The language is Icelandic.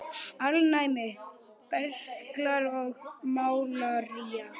Alnæmi, berklar og malaría